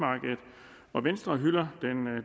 af venstre hylder